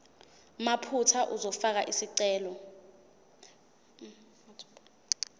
mathupha uzofaka isicelo